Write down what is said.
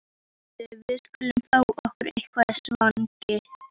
Komdu, við skulum fá okkur eitthvað í svanginn